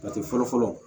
Jate fɔlɔ fɔlɔ